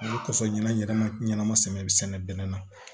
O kɔsɔn ɲɛnama ɲanama sɛbɛ be sɛnɛ bɛnɛ na